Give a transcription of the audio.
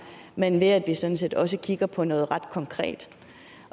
men ved at vi sådan set også kigger på noget ret konkret